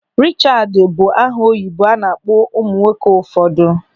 Richaad bụ aha oyibo a na-akpọ ụmụ nwoke ụfọdụ.